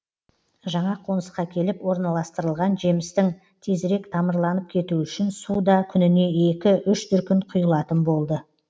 жаңа қонысқа келіп орналастырылған жемістің тезірек тамырланып кетуі үшін су да күніне екі үш дүркін құйылатын болды